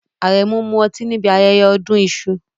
Aremu mu oti níbi ayẹyẹ odun isu